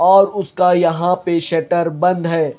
और उसका यहां पे शटर बंद है।